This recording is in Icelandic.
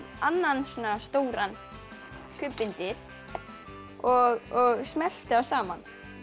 annan svona stóran kubb undir og smellti þá saman